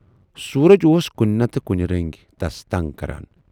سورج اوس کُنہِ نتہٕ کُنہِ رٔنگۍ تس تنگ کَران۔